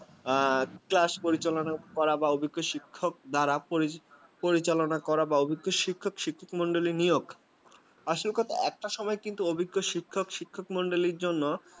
আ class পরিচালনা বলা অভিজ্ঞ শিক্ষক দ্বারা পরিচালনা করা বা অভিকর শিক্ষক শিক্ষিকা মন্ডলী নিয়োগ আসল কথা একটা সময় কিন্তু অভিকর শিক্ষক শিক্ষকমন্ডলের জন্য